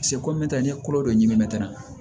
komin te n ye kolo dɔ ɲimitɛrɛn